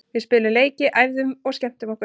Við spiluðum leiki, æfðum og skemmtum okkur.